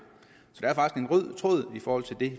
fordi